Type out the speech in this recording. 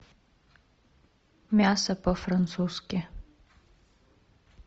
мясо по французски